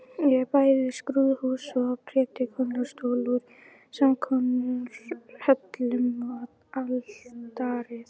Er bæði skrúðhús og prédikunarstóll úr samskonar hellum og altarið.